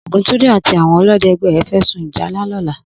Oguntunde àtí áwòn òlõdè ègbè rè fè sún ìjálá lòlà